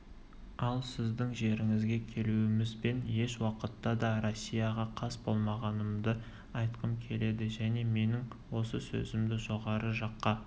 ал сіздің жеріңізге келуімізбен еш уақытта да россияға қас болмағанымды айтқым келеді және менің осы сөзімді жоғары жаққа